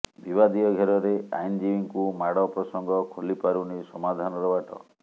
ବିବାଦୀୟ ଘେରରେ ଆଇନଜୀବୀ ଙ୍କୁ ମାଡ ପ୍ରସଙ୍ଗ ଖୋଲିପାରୁନି ସମାଧାନର ବାଟ